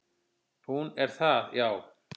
"""Hún er það, já."""